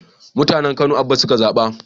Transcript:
Mutanen kano Abba suka zaba